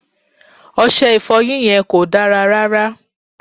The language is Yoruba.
Ọṣẹ Ìfọ̀yín yẹn kò dára rárá